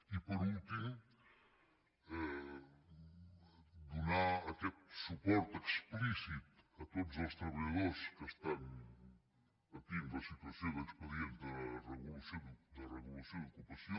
i per últim donar aquest suport explícit a tots els treballadors que estan patint la situació d’expedients de regulació d’ocupació